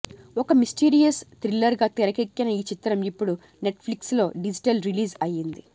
ఒక mysterious thriller గా తెరకెక్కిన ఈ చిత్రం ఇపుడు నెట్ ఫ్లిక్స్ లో డిజిటల్ రిలీజ్ అయ్యింది